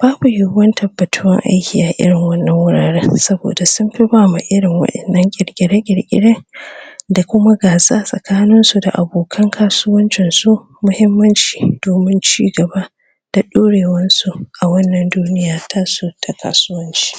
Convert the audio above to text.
babu yiwuwar tabbatuwar aiki a irin wannan wuraren saboda sunfi ba ma irin wannan qirqire qirqiren da kuma gasa tsakanin da abokan kasuwancinsu mahimmanci domin chigaba da dorewansu a wannan duniya tasu ta kasuwanci